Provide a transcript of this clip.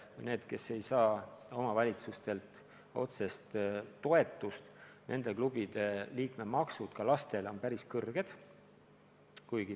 Nendes klubides, kes ei saa omavalitsustelt otsest toetust, on liikmemaksud ka lastel päris suured.